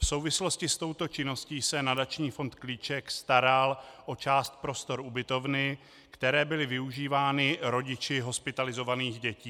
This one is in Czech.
V souvislosti s touto činností se nadační fond Klíček staral o část prostor ubytovny, které byly využívány rodiči hospitalizovaných dětí.